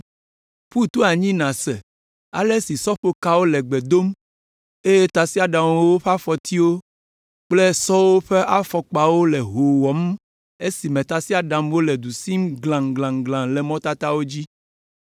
Ƒu to anyi nàse ale si sɔƒokawo le gbe dom, eye tasiaɖamwo ƒe afɔtiwo, kple sɔwo ƒe afɔkpawo le hoo wɔm esime tasiaɖamwo le du sim glaŋglaŋglaŋ le mɔtatawo dzi!